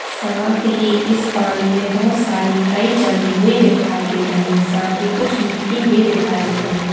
साथ ही इस पानी में बहुत सारी कई जमी हुई दिखाई दे रही है साथ ही कुछ मिट्टी भी दिखाई दे रही।